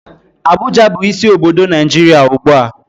Abuja bu isi obodo Naijiria ugbua.